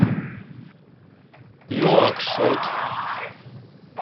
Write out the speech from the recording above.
нуакшот